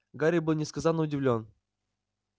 гарри был несказанно удивлён